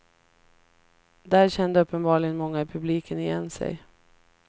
Där kände uppenbarligen många i publiken igen sig.